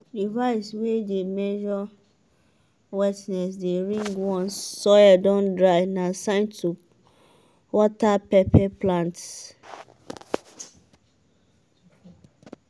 device way dey measure wetness dey ring once soil don dry na sign to water pepper plants.